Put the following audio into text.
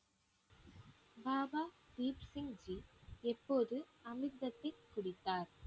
பாபா தீப் சிங்ஜி எப்போது அமிர்தத்தை குடித்தார்